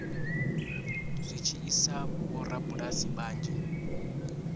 zwi tshi sia vhorabulasi vhanzhi